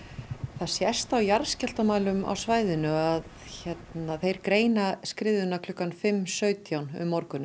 það sést á jarðskjálftamælum á svæðinu að þeir greina skriðuna klukkan fimm sautján um morguninn